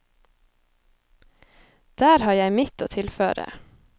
Der har jeg mitt å tilføre.